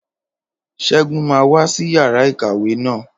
Ṣẹ́gun máa wá sí yàrá ìkàwé naa